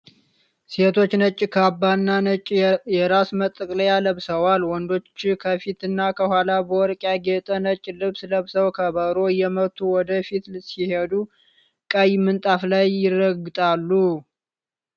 ሴቶቹ ነጭ ካባና ነጭ የራስ መጠቅለያ ለብሰዋል። ወንዶች ከፊትና ከኋላ በወርቅ ያጌጠ ነጭ ልብስ ለብሰው ከበሮ እየመቱ ወደ ፊት ሲሄዱ ቀይ ምንጣፍ ላይ ይረግጣሉ።